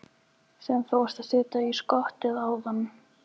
Sem þú varst að setja í skottið áðan?